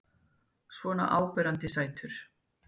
Svona áberandi sætur.